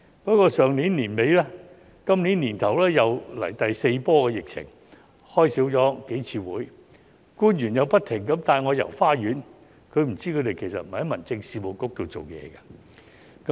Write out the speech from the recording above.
不過，上年年底和今年年初出現第四波疫情，數次會議未有舉行，官員又不停地帶我"遊花園"，他不知道他們不是在民政事務局裏工作。